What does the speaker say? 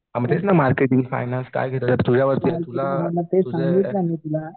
हां मग तेच ना मार्केट फायनान्स काय करतो ते तुझ्यावरती आहे तुला तुझं तुला